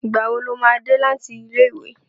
Ìgbà wo lo máa dé láti ilé ìwé?